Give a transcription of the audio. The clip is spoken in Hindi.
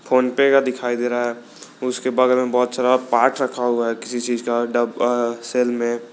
फोनपे का दिखाई दे रहा है उसके बगल में बहुत सारा पाठ रखा हुआ है किसी चीज का सेल में।